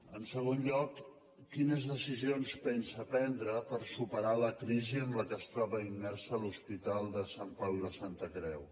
en segon lloc quines decisions pensa prendre per superar la crisi en què es troba immers l’hospital de sant pau i la santa creu